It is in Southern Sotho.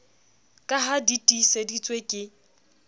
ka ha di tiiseditswe ke